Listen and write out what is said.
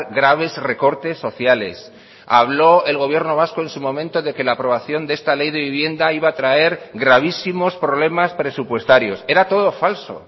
graves recortes sociales habló el gobierno vasco en su momento de que la aprobación de esta ley de vivienda iba a traer gravísimos problemas presupuestarios era todo falso